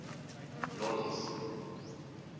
nolloth